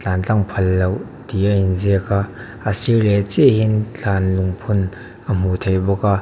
tlan tlang phal loh tih a inziak a a sir leh chiahah hian thlan lung phun a hmuh theih bawk a.